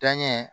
Danɲɛ